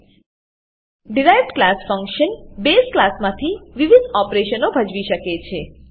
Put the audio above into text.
derived class derived class function base ક્લાસમાંથી વિવિધ ઓપરેશનો ભજવી શકે છે